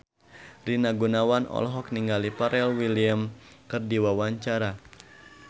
Rina Gunawan olohok ningali Pharrell Williams keur diwawancara